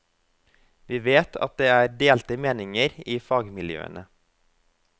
Vi vet at det er delte meninger i fagmiljøene.